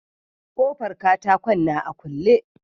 Kofan katakon na a kule.